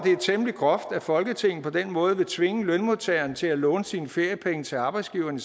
temmelig groft at folketinget på den måde vil tvinge lønmodtageren til at låne sine feriepenge til arbejdsgiveren